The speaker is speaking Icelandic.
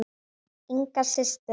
Inga systir.